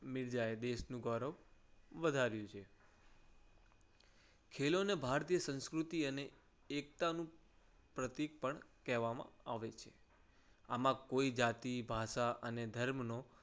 મીરજા એ દેશનું ગૌરવ વધાર્યું છે. ખેલોને ભારતીય સંસ્કૃતિ અને એકતાનું પ્રતિક પણ કહેવામાં આવે છે. આમાં કોઈ જાતિ ભાષા અને ધર્મનો